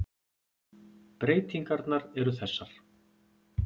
Breytingarnar eru þessar.